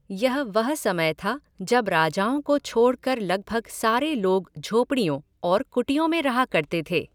यह वह समय था जब राजाओं को छोडक़र लगभग सारे लोग झोपडियों और कुटियों में रहा करते थे।